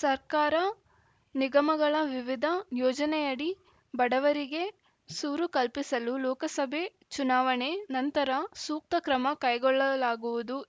ಸರ್ಕಾರ ನಿಗಮಗಳ ವಿವಿಧ ಯೋಜನೆಯಡಿ ಬಡವರಿಗೆ ಸೂರು ಕಲ್ಪಿಸಲು ಲೋಕಸಭೆ ಚುನಾವಣೆ ನಂತರ ಸೂಕ್ತ ಕ್ರಮ ಕೈಗೊಳ್ಳಲಾಗುವುದು